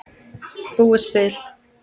Búið spil.